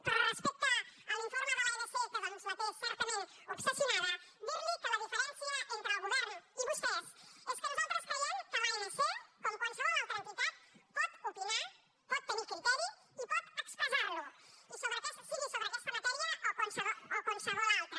però respecte a l’informe de l’anc que doncs la té certament obsessionada dirli que la diferència entre el govern i vostès és que nosaltres creiem que l’anc com qualsevol altra entitat pot opinar pot tenir criteri i pot expressar lo sigui sobre aquesta matèria o qualsevol altra